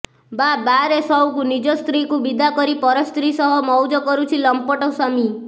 ବାଃ ବାଃ ରେ ସଉକ ନିଜ ସ୍ତ୍ରୀକୁ ବିଦା କରି ପର ସ୍ତ୍ରୀ ସହ ମଉଜ କରୁଛି ଲମ୍ପଟ ସ୍ବାମୀ